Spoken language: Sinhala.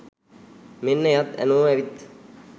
මෙන්න එයත් ඇනෝ ඇවිත්